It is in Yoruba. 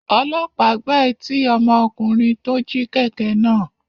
Ọlọ́pàá gbá etí ọmọkùnrin tó jí kẹ̀kẹ́ náà.